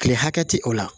Kile hakɛ tɛ o la